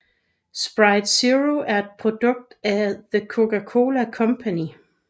Sprite Zero er et produkt fra The Coca Cola Company